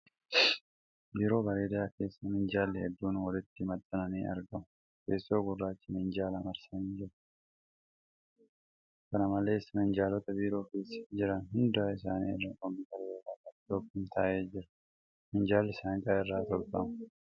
Biiroo bareedaa keessa minjaalli hedduuun walitti maxxananii argamu. Teessoo gurraachi minjaala marsanii jiru. Kana malees, minjaalota biiroo keessa jiran hunda isaanii irra kompiitara yookin laaptooppiin taa'ee jira. Minjaalli saanqaa irraa tolfama.